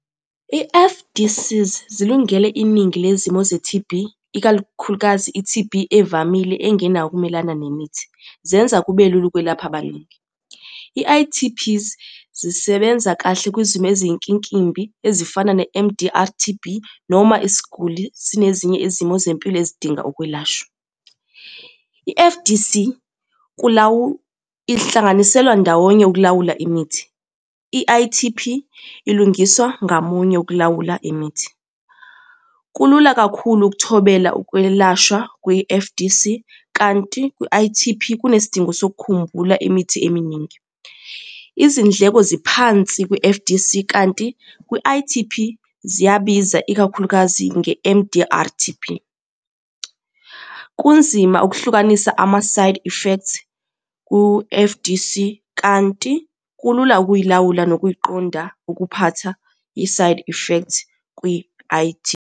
I-F_D_Cs, zilungele iningi lezimo ze-T_B, ikakhulukazi i-T_B evamile enginawo ukumelana nemithi, zenza kube lula ukwelapha abaningi. I-I_T_Ps, zisebenza kahle kwizimo eziyinkinkimbi ezifana ne-M_D_R T_B, noma isiguli sinezinye izimo zempilo ezidinga ukwelashwa. I-F_D_C, ihlanganiselwa ndawonye ukulawula imithi. I-I_T_P, ilungiswa ngamunye ukulawula imithi. Kulula kakhulu ukuthobela ukwelashwa kwi-F_D_C, kanti kwi-I_T_P, kunesidingo sokukhumbula imithi eminingi. Izindleko ziphansi kwi-F_D_C, kanti kwi-I_T_P ziyabiza, ikakhulukazi nge-M_D_R T_B. Kunzima ukuhlukanisa ama-side effects ku-F_D_C kanti kulula ukuyilawula nokuyiqonda ukuphatha i-side effects kwi-I_T.